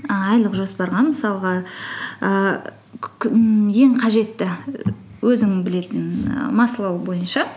ііі айлық жоспарға мысалға ііі ммм ең қажетті өзің білетін ііі маслоу бойынша